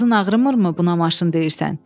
Ağzın ağrımırmı buna maşın deyirsən?